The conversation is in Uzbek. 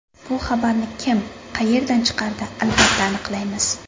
Bu xabarni kim qayerdan chiqardi albatta aniqlaymiz.